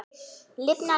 Lifnar gróður suðri mót.